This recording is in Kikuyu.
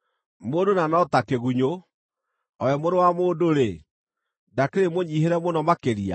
mũndũ na no ta kĩgunyũ, o we mũrũ wa mũndũ-rĩ, ndakĩrĩ mũnyiihĩre mũno makĩrĩa!”